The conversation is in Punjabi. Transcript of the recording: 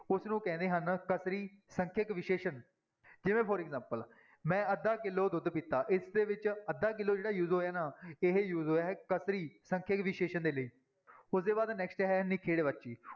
ਉਸਨੂੰ ਕਹਿੰਦੇ ਹਨ ਸੰਖਿਅਕ ਵਿਸ਼ੇਸ਼ਣ ਜਿਵੇਂ for example ਮੈਂ ਅੱਧਾ ਕਿੱਲੋ ਦੁੱਧ ਪੀਤਾ, ਇਸਦੇ ਵਿੱਚ ਅੱਧਾ ਕਿੱਲੋ ਜਿਹੜਾ use ਹੋਇਆ ਨਾ ਇਹ use ਹੋਇਆ ਹੈ ਸੰਖਿਅਕ ਵਿਸ਼ੇਸ਼ਣ ਦੇ ਲਈ, ਉਸਦੇ ਬਾਅਦ next ਹੈ ਨਿਖੇੜਵਾਚੀ।